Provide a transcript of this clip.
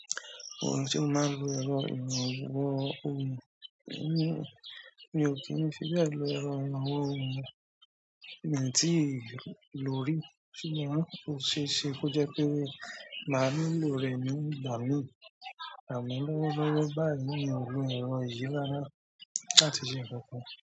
Èmi ò ń fi bẹ́ẹ̀ lo ẹ̀rọ ìrànwọ́ o. Miì tíì lò ó rí, ṣùgbọ́n ó ṣeé ṣe kó jẹ́ pé màá nílò rẹ̀ ní ìgbà míì. Àmọ́ lọ́wọ́lọ́wọ́ báyìí, mi ò lo ẹ̀rọ yìí rárá láti ṣe nǹkan kan.